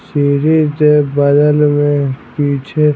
series दे बगल में पीछे--